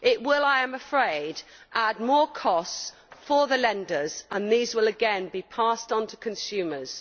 It will, I am afraid, add more costs for the lenders and these will again be passed on to consumers.